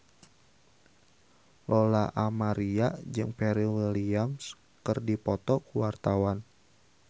Lola Amaria jeung Pharrell Williams keur dipoto ku wartawan